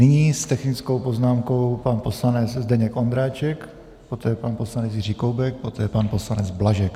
Nyní s technickou poznámkou pan poslanec Zdeněk Ondráček, poté pan poslanec Jiří Koubek, poté pan poslanec Blažek.